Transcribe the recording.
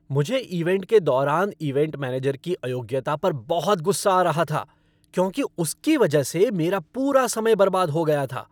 मुझे इवेंट के दौरान इवेंट मैनेजर की अयोग्यता पर बहुत गुस्सा आ रहा था क्योंकि उसकी वजह से मेरा पूरा समय बर्बाद हो गया था।